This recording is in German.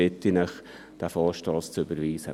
Deshalb bitte ich Sie, diesen Vorstoss zu überweisen.